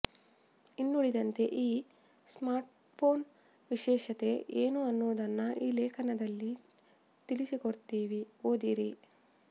ಇನ್ನುಳಿದಂತೆ ಈ ಸ್ಮಾರ್ಟ್ಫೊನ್ ವಿಶೇಷತೆ ಏನು ಅನ್ನೊದನ್ನ ಈ ಲೇಖನದಲ್ಲಿ ತಿಳಿಸಿಕೊಡ್ತಿವಿ ಓದಿರಿ